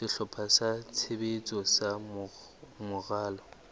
sehlopha sa tshebetso sa moralo